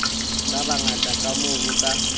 ba bangata kamoo ho ka